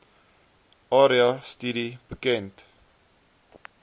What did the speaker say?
area studie bekend